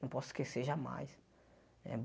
Não posso esquecer jamais. Eh